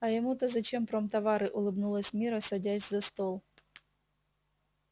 а ему то зачем промтовары улыбнулась мирра садясь за стол